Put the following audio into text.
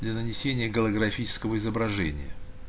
для нанесение голографического изображения